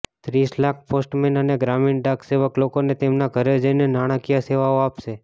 ત્રીસ લાખ પોસ્ટમેન અને ગ્રામીણ ડાક સેવક લોકોને તેમના ઘરે જઈને નાણાકીય સેવાઓ આપશે